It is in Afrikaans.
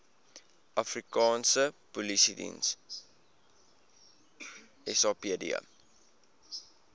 afrikaanse polisiediens sapd